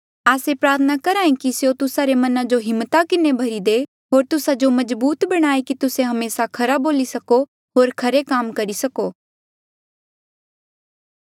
आस्से प्रार्थना करहे कि स्यों तुस्सा रे मना जो हिम्मता किन्हें भरी दे होर तुस्सा जो मजबूत बणाये कि तुस्से हमेसा खरा बोली सको होर खरे काम करी सको